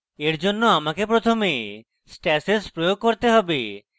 এরজন্য আমাকে প্রথমে stashes প্রয়োগ করতে have